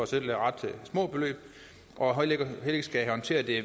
selv ret små beløb og heller ikke skal håndtere det